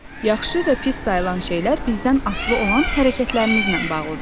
Yaxşı və pis sayılan şeylər bizdən asılı olan hərəkətlərimizlə bağlıdır.